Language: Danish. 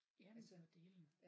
Jamen for dælen